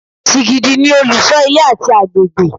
Sìgìdì ni olùṣọ́ ilé àti agbègbè